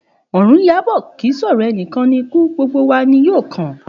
Òrun n yabò, kì í sòrò enìkan ni ikú, gbogbo wa ni yóò kàn